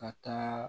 Ka taa